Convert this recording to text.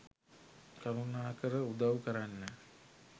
කරුණාකර උදවු කරන්න.